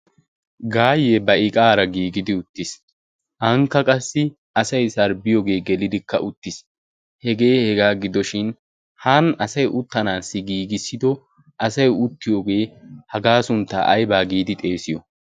gaayye ba iqaara giigidi uttiis. anikka qassi asai sarbbiyoogee gelidikka uttiis. hegee hegaa gidoshin haani asay uttanaassi giigissido asay uttiyoogee hagaa sunttaa aybaa giidi xeesiyo?